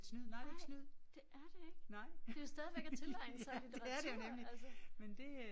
Nej det er det ikke. Det jo stadigvæk at tilegne sig litteratur altså